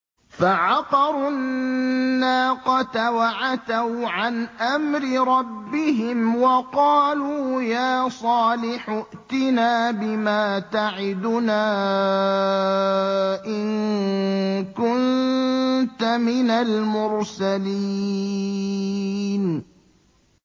فَعَقَرُوا النَّاقَةَ وَعَتَوْا عَنْ أَمْرِ رَبِّهِمْ وَقَالُوا يَا صَالِحُ ائْتِنَا بِمَا تَعِدُنَا إِن كُنتَ مِنَ الْمُرْسَلِينَ